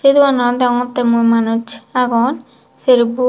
dogananot deongottey mui manuj agon serbo.